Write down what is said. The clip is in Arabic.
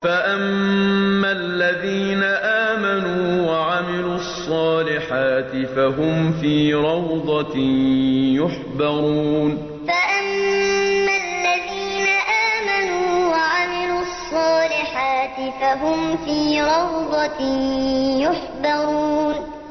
فَأَمَّا الَّذِينَ آمَنُوا وَعَمِلُوا الصَّالِحَاتِ فَهُمْ فِي رَوْضَةٍ يُحْبَرُونَ فَأَمَّا الَّذِينَ آمَنُوا وَعَمِلُوا الصَّالِحَاتِ فَهُمْ فِي رَوْضَةٍ يُحْبَرُونَ